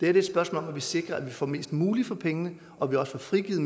er et spørgsmål om at vi sikrer at vi får mest muligt for pengene og at vi også får frigivet